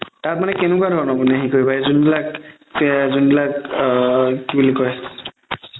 তাত মানে কেনেকুৱা ধৰণৰ মানে সেই কৰিবা এই যোনবিলাক, যোনবিলাক আ কি বুলি কই